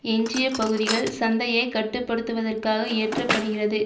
எஞ்சிய பகுதிகள் சந்தையை கட்டு படுத்துவதற்காக இயற்றப்படுகிறது